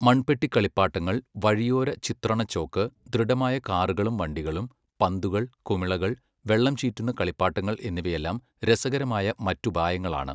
മൺപെട്ടി കളിപ്പാട്ടങ്ങൾ, വഴിയോര ചിത്രണ ചോക്ക്, ദൃഢമായ കാറുകളും വണ്ടികളും, പന്തുകൾ, കുമിളകൾ, വെള്ളം ചീറ്റുന്ന കളിപ്പാട്ടങ്ങൾ എന്നിവയെല്ലാം രസകരമായ മറ്റുപായങ്ങളാണ് .